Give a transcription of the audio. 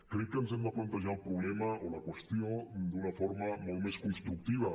crec que ens hem de plantejar el problema o la qüestió d’una forma molt més constructiva